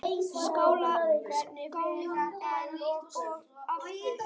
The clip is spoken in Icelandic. Skál enn og aftur!